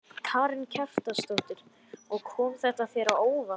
Karen Kjartansdóttir: Og kom þetta þér á óvart?